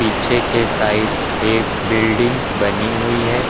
पीछे के साइड एक बिल्डिंग बनी हुई है।